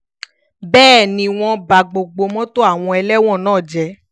bẹ́ẹ̀ ni wọ́n ba gbogbo mọ́tò àwọn ẹlẹ́wọ̀n náà jẹ́